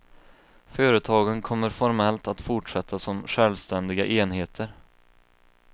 Företagen kommer formellt att fortsätta som självständiga enheter.